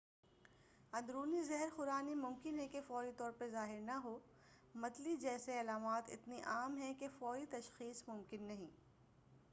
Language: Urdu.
اندرونی زہر خورانی ممکن ہے کہ فوری طور پر ظاہر نہ ہو متلی جیسے علامات اتنی عام ہیں کہ فوری تشخیص ممکن نہیں